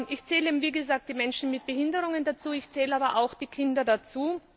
Ich zähle, wie gesagt, Menschen mit Behinderungen dazu, ich zähle aber auch Kinder dazu.